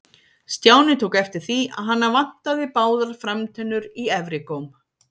Stjáni tók eftir því að hana vantaði báðar framtennur í efri góm.